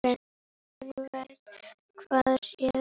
Enginn veit hvað réði.